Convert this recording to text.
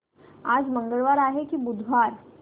आज मंगळवार आहे की बुधवार